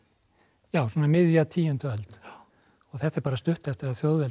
já svona miðja tíundu öld og þetta er bara stuttu eftir að þjóðveldið